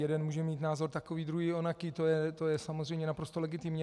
Jeden může mít názor takový, druhý onaký, to je samozřejmě naprosto legitimní.